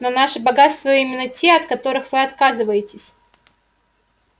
но наши богатства именно те от которых вы отказываетесь